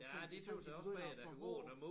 Og så sådan de sådan de begynder at få hår